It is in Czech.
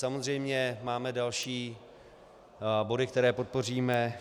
Samozřejmě máme další body, které podpoříme.